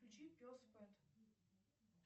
включи пес пэт